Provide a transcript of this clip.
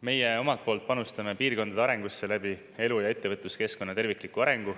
Meie omalt poolt panustame piirkondade arengusse läbi elu- ja ettevõtluskeskkonna tervikliku arengu,